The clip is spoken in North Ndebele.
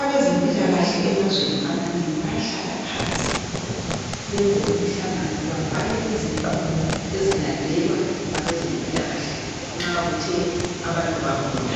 Abezempilakahle emazweni amanengi bayahlalala phansi benze umhlangano babhale izinqumo ezilandelwe ngabeze mpilakahle nxa kuthe abantu bagula